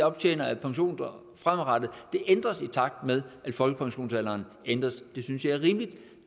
optjener af pension fremadrettet ændres i takt med at folkepensionsalderen ændres det synes jeg er rimeligt